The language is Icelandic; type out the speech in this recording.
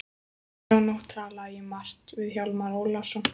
Þá nótt talaði ég margt við Hjálmar Ólafsson.